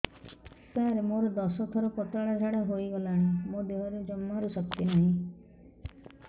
ସାର ମୋତେ ଦଶ ଥର ପତଳା ଝାଡା ହେଇଗଲାଣି ମୋ ଦେହରେ ଜମାରୁ ଶକ୍ତି ନାହିଁ